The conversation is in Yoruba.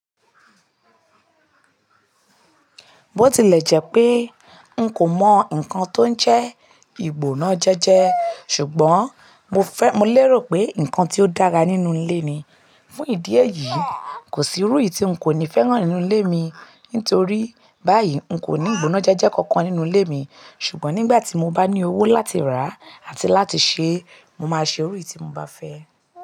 Bó tilẹ̀ jẹ́ pé n kò mọ̀ nǹkan tó ń jẹ́ ìgbónájẹ́jẹ́, ṣùgbọ́n mo fẹ́, mo lérò pé nǹkan tí ó dára nínú ilé ni. Fún ìdí èyí, kò sí irú èyí tí n kò ní fẹ́ ràn nínú ilé mi. Nítorí báyìí, n kò ní ìgbónájẹ́jẹ́ kankan nínú ilé mi. Ṣùgbọ́n nígbà tí mo bá ní owó láti rà àti láti ṣe, mo máa ṣe irú èyí tí mo bá fẹ́.